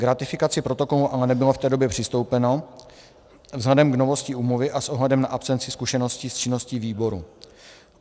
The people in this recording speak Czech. K ratifikaci protokolu ale nebylo v té době přistoupeno vzhledem k novosti úmluvy a s ohledem na absenci zkušeností s činností výboru.